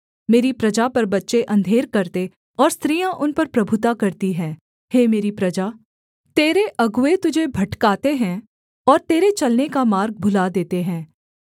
मेरी प्रजा पर बच्चे अंधेर करते और स्त्रियाँ उन पर प्रभुता करती हैं हे मेरी प्रजा तेरे अगुए तुझे भटकाते हैं और तेरे चलने का मार्ग भुला देते हैं